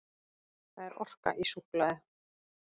Það er orka í súkkulaði.